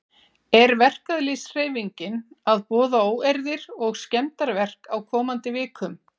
Er verkalýðshreyfingin að boða óeirðir og skemmdarverk á komandi vikum?